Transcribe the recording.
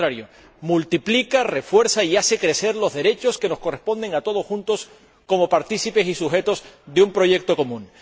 Por el contrario, multiplica, refuerza y hace crecer los derechos que nos corresponden a todos juntos como partícipes y sujetos de un proyecto común.